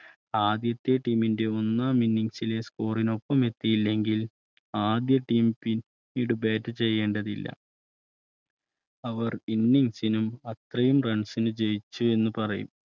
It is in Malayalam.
ആദ്യത്തെ Team ന്റെ മൂന്നാം ഇന്നിംഗ് സ് ലെ Score ന്റെ ഒപ്പംഎത്തിയില്ലെങ്കിൽ ആദ്യ Team പിന്നീട് Bat ചെയ്യേണ്ടതില്ല അവർ Innings നും അത്രയും Runs ന് ജയിച്ചു എന്ന് പറയും